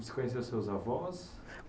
Você conheceu seus avós?